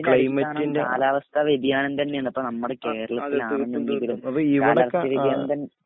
എല്ലാത്തിന്റേം അടിസ്ഥനം കാലാവസ്ഥ വ്യതിയാനം തഞ്ഞെണ് ഇപ്പൊ നമ്മടെ കേരളത്തിലാണെങ്കിലും കാലാവസ്ഥവ്യതിയാനം തഞ്ഞേണ്